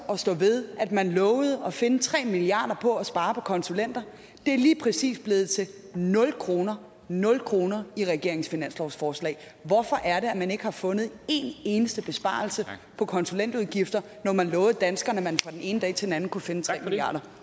at stå ved at man lovede at finde tre milliard kroner på at spare på konsulenter det er lige præcis blevet til nul kroner nul kroner i regeringens finanslovsforslag hvorfor er det at man ikke har fundet en eneste besparelse på konsulentudgifter når man lovede danskerne at man fra den ene dag til den anden kunne finde tre milliard